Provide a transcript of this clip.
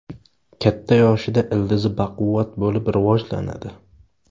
Katta yoshida ildizi baquvvat bo‘lib rivojlanadi.